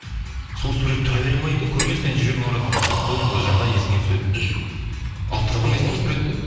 сол сурет тұра береді ме үйде көрген сайын жүрегің ауырады мысалы сол жағдай есің түседі алып тастамайсың ба суретті